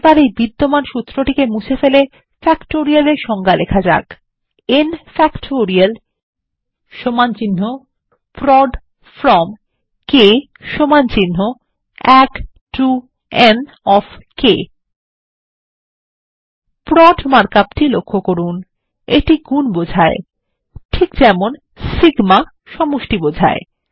এবার এই বিদ্যমান সূত্র মুছে ফেলে factorial এর সংজ্ঞা লেখা যাক160 N ফ্যাক্টোরিয়াল সমান্চিহ্ন প্রদ ফ্রম k সমান্চিহ্ন 1 to n of k prod mark up টি লক্ষ্য করুন এটি গুন বোঝায় ঠিক যেমন সিগমা সমষ্টি বোঝায়